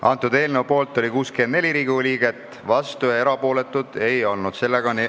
Hääletustulemused Eelnõu poolt oli 64 Riigikogu liiget, vastuolijaid ega erapooletuid ei olnud.